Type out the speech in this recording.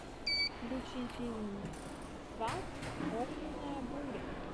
включи фильм сват огненная буря